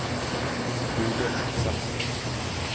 Bodil Akselsen